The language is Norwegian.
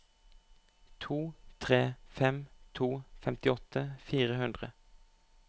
to tre fem to femtiåtte fire hundre